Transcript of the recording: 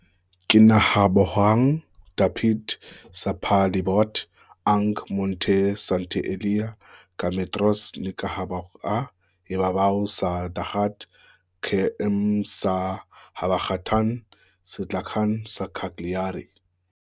Kinahabogang dapit sa palibot ang Monte Sant'Elia, ka metros ni kahaboga ibabaw sa dagat, km sa habagatan-sidlakan sa Cagliari.